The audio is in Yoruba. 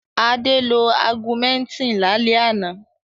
Adé lo Augumentin lálẹ́ àná.